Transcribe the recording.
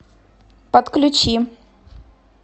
подключи